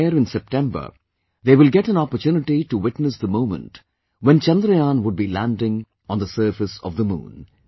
There in September they will get an opportunity to witness the moment when Chandrayaan would be landing on the surface of the Moon